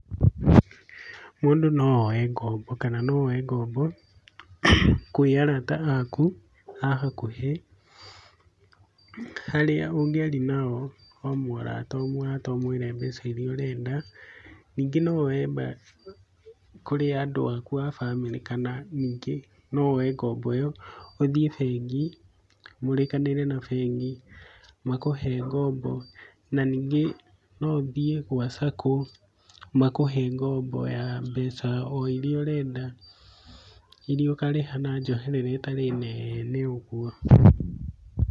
Mũndũ no oye ngombo, kana no oye ngombo kũrĩ arata akũ ahakũhĩ. Harĩa ũngĩaria nao o mũrata o mũrata ũmwĩre mbeca irĩa ũrenda. Ningĩ nowe mbeca kũrĩ andũ akũ a bamĩrĩ, kana ningĩ no woe ngombo ĩ yo ũthĩe bengi mũrĩkanĩre na bengi, makũhe ngombo na ningĩ no ũthiĩ gwa cakũ makũhe ngombo ya mbeca o irĩa ũrenda, irĩa ũkarĩha na njoherera ĩtarĩ neene ũguo.